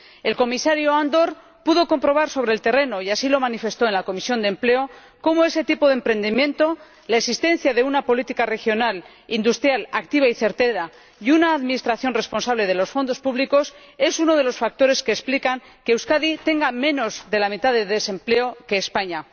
El Comisario Andor pudo comprobar sobre el terreno, y así lo manifestó en la Comisión de Empleo, cómo ese tipo de emprendimiento, la existencia de una política regional industrial activa y certera, y una administración responsable de los fondos públicos es uno de los factores que explican que Euskadi tenga menos de la mitad del desempleo que España.